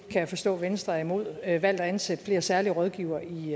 jeg forstå at venstre er imod at ansætte flere særlige rådgivere i